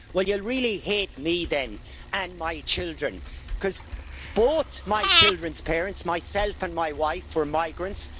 Well, you'll really hate me then, and my children, because both my children's parents myself and my wife were migrants.